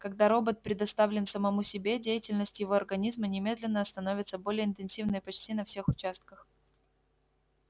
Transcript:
когда робот предоставлен самому себе деятельность его организма немедленно становится более интенсивной почти на всех участках